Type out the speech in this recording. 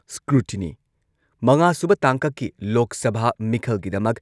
ꯁ꯭ꯀ꯭ꯔꯨꯇꯤꯅꯤ- ꯃꯉꯥꯁꯨꯕ ꯇꯥꯡꯀꯛꯀꯤ ꯂꯣꯛ ꯁꯚꯥ ꯃꯤꯈꯜꯒꯤꯗꯃꯛ